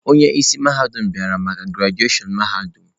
Onye isi mahadum bịara maka grajushon mahadum.